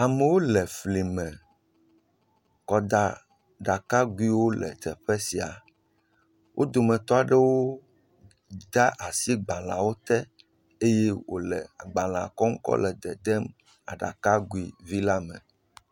Amwo le fli me kɔda ɖakaguiwo le teƒe sia. Wo dometɔ aɖewo de asi gbaleawo te eye wo le gbalea kɔ le dedem aɖakagui la me.